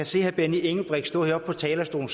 se herre benny engelbrecht stå heroppe på talerstolen